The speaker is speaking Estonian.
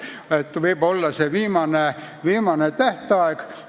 Nii et jah, võib olla see viimane tähtaeg.